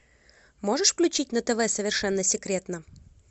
можешь включить на тв совершенно секретно